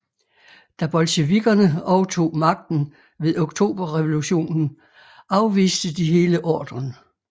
Da bolsjevikkerne overtog magten ved Oktoberrevolutionen afviste de hele ordren